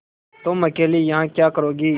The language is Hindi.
तुम अकेली यहाँ क्या करोगी